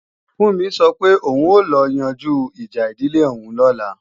Fúnmi sọ pé òun ó lọ yanjú ìjà ìdílé òun lọ́la